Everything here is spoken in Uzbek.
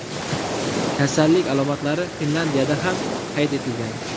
Kasallik alomatlari Finlyandiyada ham qayd etilgan.